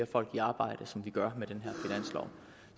folk i arbejde som vi gør med den